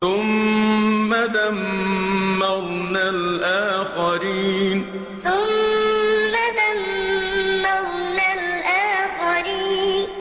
ثُمَّ دَمَّرْنَا الْآخَرِينَ ثُمَّ دَمَّرْنَا الْآخَرِينَ